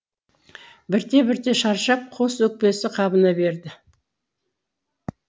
бірте бірте шаршап қос өкпесі қабына берді